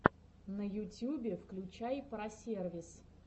на ютюбе включай про сервис